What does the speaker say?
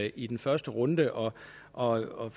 i den første runde og og